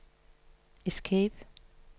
escape